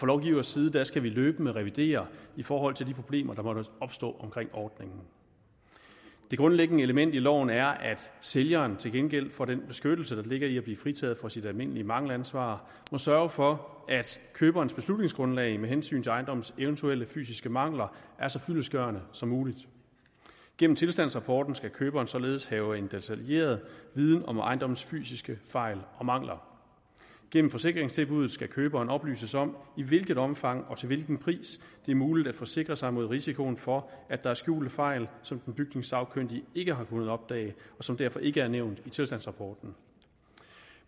lovgivers side skal vi løbende revidere i forhold til de problemer der måtte opstå omkring ordningen det grundlæggende element i loven er at sælgeren til gengæld for den beskyttelse der ligger i at blive fritaget for sit almindelige mangelansvar må sørge for at køberens beslutningsgrundlag med hensyn til ejendommens eventuelle fysiske mangler er så fyldestgørende som muligt gennem tilstandsrapporten skal køberen således have en detaljeret viden om ejendommens fysiske fejl og mangler gennem forsikringstilbuddet skal køberen oplyses om i hvilket omfang og til hvilken pris det er muligt at forsikre sig mod risikoen for at der er skjulte fejl som den bygningssagkyndige ikke har kunnet opdage og som derfor ikke er nævnt i tilstandsrapporten